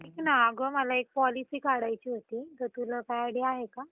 ऐक ना अगं मला एक policy काढायची होती तर तुला काय idea आहे का?